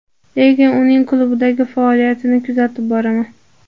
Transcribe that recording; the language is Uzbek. Lekin uning klubdagi faoliyatini kuzatib boraman.